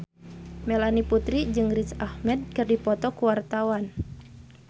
Melanie Putri jeung Riz Ahmed keur dipoto ku wartawan